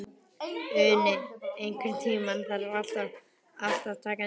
Uni, einhvern tímann þarf allt að taka enda.